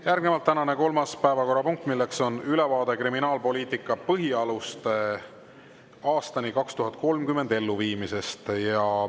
Järgnevalt tänane kolmas päevakorrapunkt, mis on ülevaade "Kriminaalpoliitika põhialuste aastani 2030" elluviimisest.